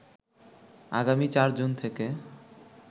আগামী ৪ জুন থেকে